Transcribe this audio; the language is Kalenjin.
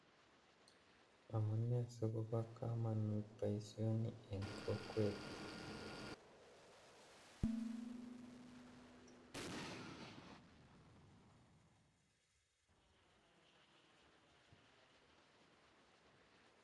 Amune sikobo komonut boisioni en kokwet